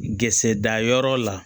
Gsɛ dayɔrɔ la